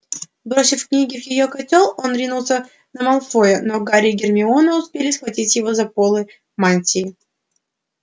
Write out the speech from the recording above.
бросив книги в её котёл он ринулся на малфоя но гарри и гермиона успели схватить его за полы мантии